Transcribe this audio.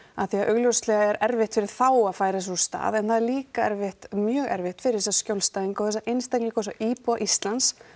af því að augljóslega er erfitt fyrir þá að færa sig úr stað en það er líka erfitt mjög erfitt fyrir þessa skjólstæðinga og þessa einstaklinga og þessa íbúa Íslands